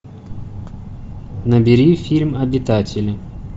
набери фильм обитатели